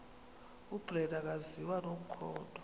ubrenda akaziwa nomkhondo